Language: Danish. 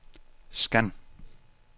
scan